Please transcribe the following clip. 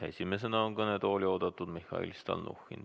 Esimesena on kõnetooli oodatud Mihhail Stalnuhhin.